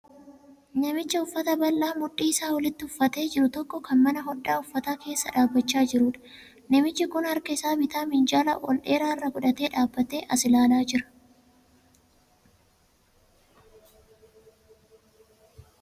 Namicha uffata bal'aa mudhii isaa olitti uffatee jiru tokko kan mana hodhaa uffataa keessa dhaabbachaa jiruudha. Namichi kun harka isaa bitaa minjaala ol dheeraa irra godhatee dhaabbatee as ilaalaa jira.